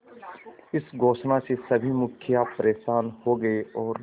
इस घोषणा से सभी मुखिया परेशान हो गए और